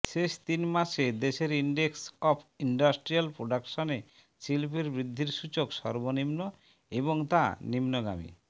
শেষ তিন মাসে দেশের ইনডেক্স অফ ইন্ডাস্ট্রিয়াল প্রোডাকশনে শিল্পের বৃদ্ধির সূচক সর্বনিম্ন এবং তা নিম্নগামী